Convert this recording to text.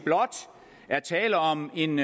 tale om en